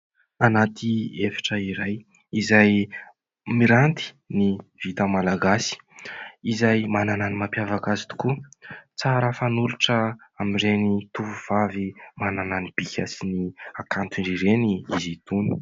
Anaty efitra iray izay miranty ny vita malagasy, izay manana ny mampiavaka azy tokoa tsara fanolotra amin'ireny tovovavy manana ny bika sy ny hakantony ireny izy itony.